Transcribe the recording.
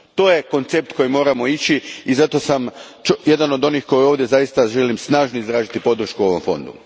To je koncept na koji moramo ići i zato sam jedan od onih koji ovdje zaista snažno žele izraziti podršku ovom Fondu.